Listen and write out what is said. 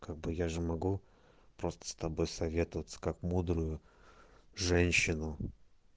как бы я же могу просто с тобой советоваться как мудрую женщину